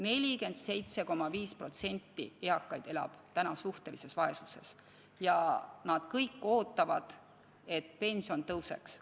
47,5% eakaid elab suhtelises vaesuses ja nad kõik ootavad, et pension tõuseks.